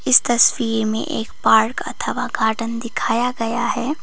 इस तस्वीर में एक पार्क अथवा गार्डन दिखाया गया है।